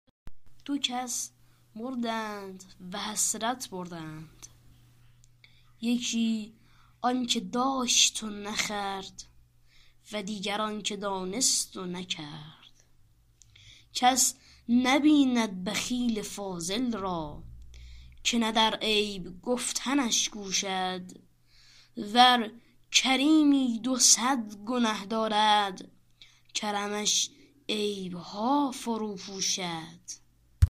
دو کس مردند و حسرت بردند یکی آن که داشت و نخورد و دیگر آن که دانست و نکرد کس نبیند بخیل فاضل را که نه در عیب گفتنش کوشد ور کریمی دو صد گنه دارد کرمش عیبها فرو پوشد